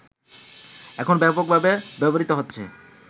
এখন ব্যাপকভাবে ব্যবহৃত হচ্ছে